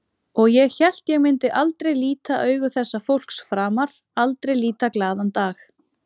Og ég hélt ég myndi aldrei líta augu þessa fólks framar, aldrei líta glaðan dag.